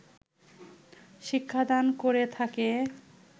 শিক্ষা দান করে থাকে